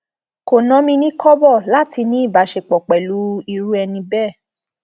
kò nà mí ní kọbọ láti ní ìbáṣepọ pẹlú irú ẹni bẹẹ